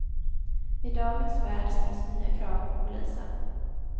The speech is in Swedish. I dagens värld ställs nya krav på polisen.